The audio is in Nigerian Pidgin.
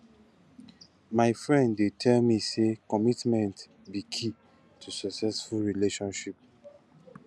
my friend dey tell me say commitment be key to successful relationship